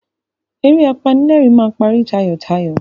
Eré apanílẹ̀rìn máa parí tayọ̀tayọ̀.